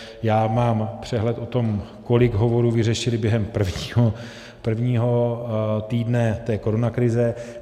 Já mám přehled o tom, kolik hovorů vyřešili během prvního týdne té koronakrize.